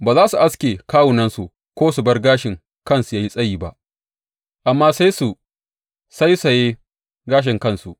Ba za su aske kawunansu ko su bar gashin kansu ya yi tsayi ba, amma sai su sausaye gashin kansu.